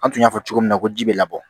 An tun y'a fɔ cogo min na ko ji bɛ labɔ